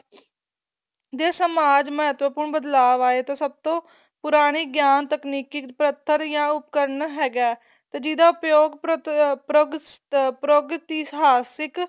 ਦੇ ਸਮਾਜ ਮੱਤਵਪੂਰਨ ਬਦਲਾਵ ਆਏ ਤੇ ਸਭ ਤੋ ਪੁਰਾਣੀ ਗਿਆਨ ਤਕਨੀਕੀ ਪ੍ਰਕ੍ਰਿਤੀ ਜਾਂ ਉਪਕਰਣ ਹੈਗਾ ਏ ਤੇ ਜਿਹਦਾ ਪ੍ਰਯੋਗ ਪਰਗ ਪ੍ਰਗਤਿਹਾਸਿਕ